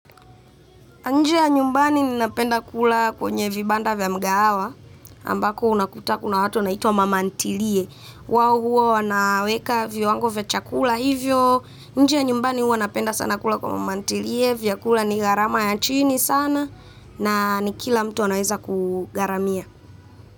Nje ya nyumbani ninapenda kula kwenye vibanda vya migahawa ambapo unakuta kuna watu wanaitwa mama nitilie. Wao huwa wanaweka viwango vya chakula hivyo. Nje ya nyumbani huwa napenda sana kula kwa mama ntilie, vyakula ni gharama ya chini sana na ni kila mtu anaweza kugharamia.